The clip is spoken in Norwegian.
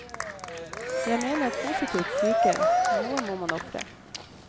Jeg mener positivt syke, noe må man ofre.